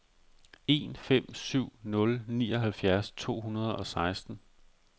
en fem syv nul nioghalvfjerds to hundrede og seksten